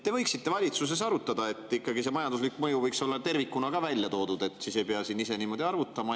Te võiksite valitsuses arutada, et ikkagi see majanduslik mõju võiks olla tervikuna ka välja toodud, siis me ei pea siin ise niimoodi arvutama.